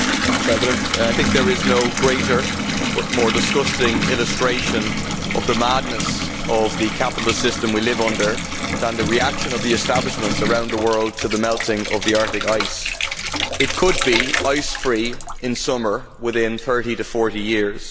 Madam President, I think there is no greater but more disgusting illustration of the madness of the capitalist system we live under than the reaction of the establishments around the world to the melting of the Arctic ice. It could be ice free in summer within thirty to forty years.